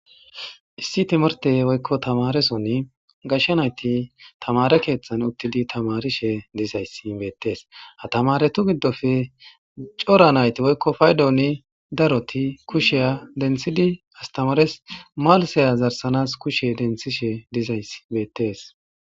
issi timirte woykko tamaresonni gashsha nayti tamare keeththan uttidi tamarishe dizayssi beettees hatamaretu giddofe cora nayti woykko paydooni daroti kusheya dentsidi astamares malisaya zarsanas kushe denthishe dizay beettees